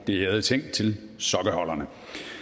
det ærede ting til sokkeholderne